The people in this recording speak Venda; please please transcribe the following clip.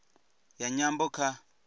ya nyambo kha